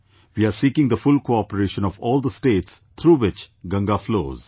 We are seeking the full cooperation of all the states through which Ganga flows